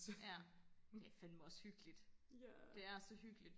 ja det fanme også hyggeligt det er så hyggeligt